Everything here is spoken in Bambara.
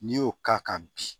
N'i y'o k'a kan bi